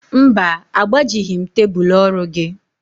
Mba, agbajighị m tebulu orụ gị